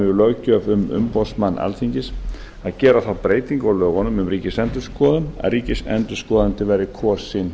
löggjöf um umboðsmann alþingis að gera þá breytingu á lögunum um ríkisendurskoðun að ríkisendurskoðandi verði kosinn